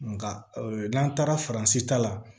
Nka n'an taara faransi ta la